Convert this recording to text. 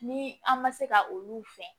Ni an ma se ka olu fɛn